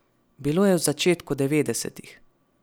Bilo je v začetku devetdesetih.